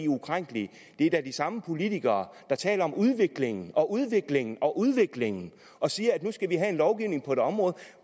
ukrænkelige det er da de samme politikere der taler om udviklingen og udviklingen og udviklingen og siger at nu skal vi have en lovgivning på et område